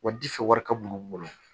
Wa difɛ wari ka bon